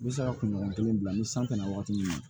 N bɛ se ka kunɲɔgɔn kelen bila ni san bɛ na wagati min na